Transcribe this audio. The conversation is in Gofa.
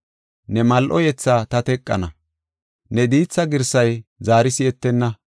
Ne mal7o yetha ta teqana; ne diitha girsay zaari si7etenna.